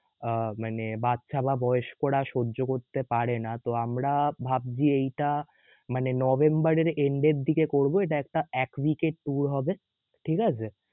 আহ মানে বাচ্চা বা বয়স্করা সহ্য করতে পারে না, তো আমরা ভাবছি এইটা মানে November এর end এর দিকে করবো এইটা একটা এক week এর হবে, ঠিকাছে?